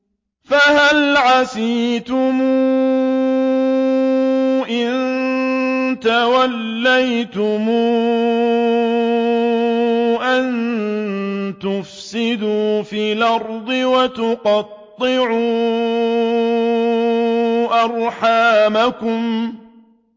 فَهَلْ عَسَيْتُمْ إِن تَوَلَّيْتُمْ أَن تُفْسِدُوا فِي الْأَرْضِ وَتُقَطِّعُوا أَرْحَامَكُمْ